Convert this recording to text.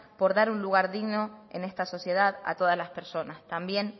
por dar un lugar digno en esta sociedad a todas las personas también